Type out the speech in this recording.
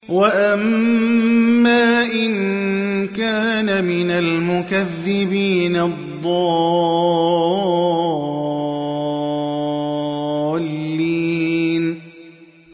وَأَمَّا إِن كَانَ مِنَ الْمُكَذِّبِينَ الضَّالِّينَ